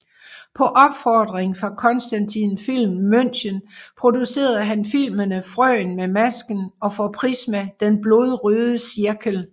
På opfordring fra Constantin Film München producerede han filmene Frøen med masken og for Prisma Den blodrøde cirkel